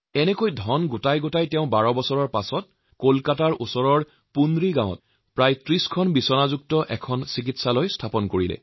এইদৰে অলপ অলপকৈ অৰ্থ সংগ্ৰহ কৰি ১২ বছৰ পাছত অসম্ভৱকো সম্ভৱ কৰি ছাইদুলে কলকাতাৰ সমীপৱৰ্তী পুনৰি গাঁৱত ৩০খন বিচনাযুক্ত এখন হাস্পতাল নিৰ্মাণ কৰে